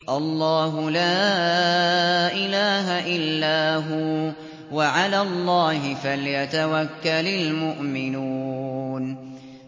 اللَّهُ لَا إِلَٰهَ إِلَّا هُوَ ۚ وَعَلَى اللَّهِ فَلْيَتَوَكَّلِ الْمُؤْمِنُونَ